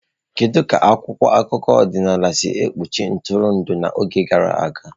Kedu ka akwụkwọ akụkọ ọdịnala si ekpuchi ntụrụndụ n'oge gara aga?